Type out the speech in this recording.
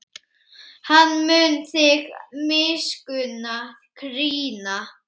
Hann mun þig miskunn krýna.